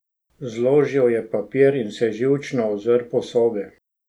Zložil je papir in se živčno ozrl po sobi.